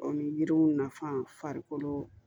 O ni yiriw nafan farikolo